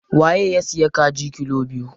Waye ya siya kaji kilo biyu?